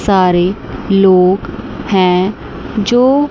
सारे लोग हैं जो--